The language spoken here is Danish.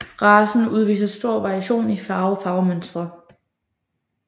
Racen udviser stor variation i farver og farvemønstre